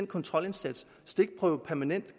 kontrolindsats stikprøve permanent